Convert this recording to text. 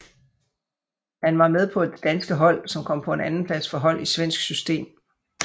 Han var med på det danske hold som kom på en andenplads for hold i svensk system